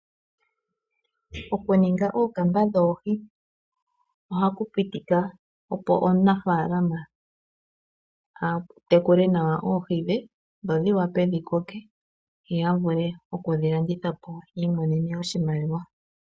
Okuninga ookamba dhoohi ohaku pitika opo omunafaalama a tekule nawa oohi dhe dho dhi wape dhi koke, yo ya vule okudhi landitha po yiimonene oshimaliwa.